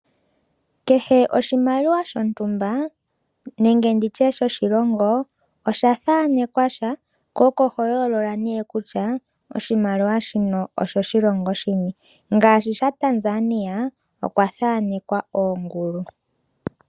Kehe oshimaliwa shontumba nenge nditye shoshilongo, osha thaanekwa sha, ko oko ho yooloka nee kutya oshimaliwa shino oshoshilongo shini. Ngaashi shaTanzania okwa thaanekwa oongulu.